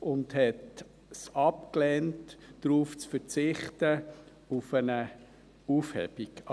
und lehnte es ab, auf eine Aufhebung zu verzichten.